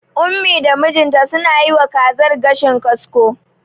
Ummi da mijinta suna yiwa kazar gashin kasko.